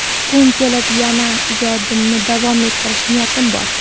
Kun kelib yana ijodimni davom ettirish niyatim bor.